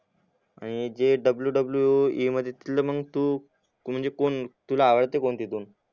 आणि जे WWE मढीतलं मंग तू म्हणजे तुला आवडता कोण तीतून